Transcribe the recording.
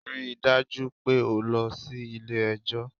Ri dájú pé o lọ sí Ilé ẹjọ́